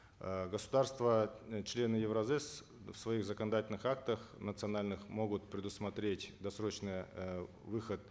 э государства члены евразэс в своих законодательных актах национальных могут предусмотреть досрочный э выход